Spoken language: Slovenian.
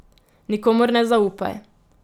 Nikomur ne zaupaj.